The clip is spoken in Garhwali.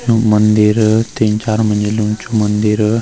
मंदिर तीन-चार मंजिल उन्चु मंदिर।